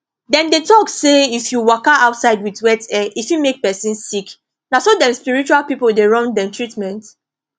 dem dey talk say if you waka outside with wet hair e fit make person sick na so dem spiritual people dey run dem treatment